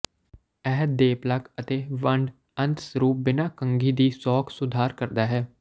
ਇਹ ਦੇਪਲਾਕ ਅਤੇ ਵੰਡ ਅੰਤ ਸਰੂਪ ਬਿਨਾ ਕੰਘੀ ਦੀ ਸੌਖ ਸੁਧਾਰ ਕਰਦਾ ਹੈ